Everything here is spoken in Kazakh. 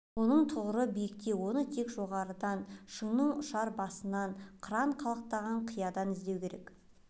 оның тұғыры биікте оны тек жоғарыдан шыңның ұшар басынан қыран қалықтаған қиядан іздеу керек